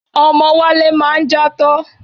Ọmọ Wálé máa ń játọ́.